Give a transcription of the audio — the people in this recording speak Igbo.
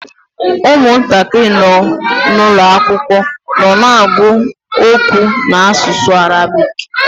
Ụmụntakịrị nọ n’ụlọ akwụkwọ nọ na-agụ okwu n’asụsụ Arabik.